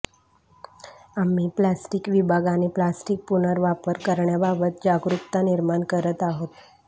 आम्ही प्लॅस्टिक विभाग आणि प्लास्टिक पुनर्वापर करण्याबाबत जागरूकता निर्माण करत आहोत